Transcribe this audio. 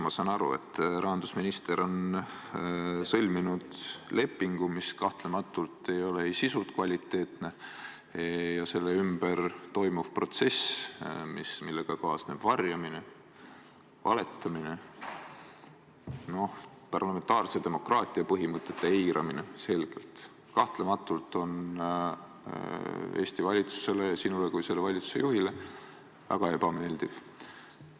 Ma saan aru, et rahandusminister on sõlminud lepingu, mis kahtlematult ei ole sisult kvaliteetne, ja selle ümber toimuv protsess, millega kaasneb varjamine, valetamine, selge parlamentaarse demokraatia põhimõtete eiramine, on kahtlematult Eesti valitsusele ja sinule kui selle valitsuse juhile väga ebameeldiv.